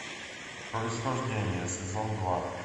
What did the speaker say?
происхождение сезон два